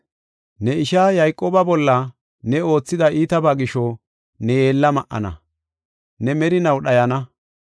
Ne ishaa Yayqooba bolla ne oothida iitabaa gisho, ne yeella ma77ana; ne merinaw dhayana.